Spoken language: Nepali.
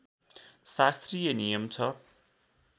शास्त्रीय नियम छ